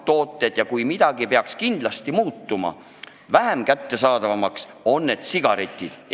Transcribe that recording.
Kas keegi julgeb öelda, et kui midagi peaks kindlasti muutuma vähem kättesaadavaks, siis need on sigaretid?